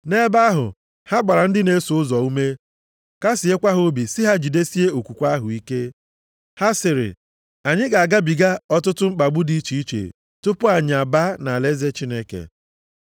Nʼebe ahụ ha gbara ndị na-eso ụzọ ume kasịekwa ha obi sị ha jidesie okwukwe ahụ ike. Ha sịrị, “Anyị ga-agabiga ọtụtụ mkpagbu dị iche iche tupu anyị abaa nʼalaeze Chineke.”